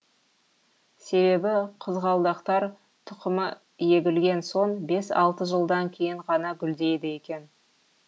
себебі қызғалдақтар тұқымы егілген соң бес алты жылдан кейін ғана гүлдейді екен